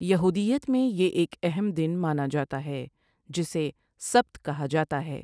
یہودیت میں یہ ایک اہم دن مانا جاتا ہے جسے سبت کہا جاتا ہے۔